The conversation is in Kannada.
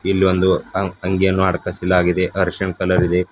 ಇಲ್ಲಿ ಒಂದು ಅ ಅಂಗಿಯನ್ನು ಅಡಕಾಸಿಲಾಗಿದೆ ಅರಿಸಿನ ಕಲರ್ ಇದೆ.